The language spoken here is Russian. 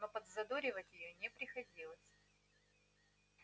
но подзадоривать её не приходилось